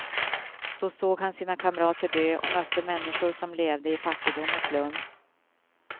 Då såg han sina kamrater dö och mötte människor som levde i fattigdom och slum.